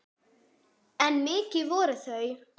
En mikil voru þau.